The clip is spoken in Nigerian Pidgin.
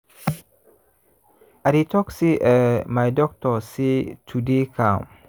i dey talk say eeh my doctor say to dey calm